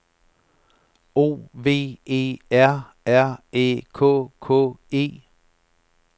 O V E R R Æ K K E